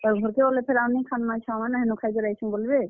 ଘର୍ କେ ଗଲେ ଆଉ ନି ଖାନ୍ ନା ଛୁଆ ମାନେ ହେନ ଖାଇକରି ଆଇଛୁଁ ବଲ୍ ବେ।